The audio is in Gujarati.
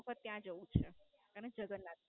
વખત ત્યાં જવું જ છે. અને જગન્નાથપુરી.